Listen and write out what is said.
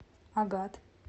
агат